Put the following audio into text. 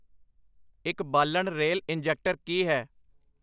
ਇੱਕ ਬਾਲਣ rail injector ਕੀ ਹੈ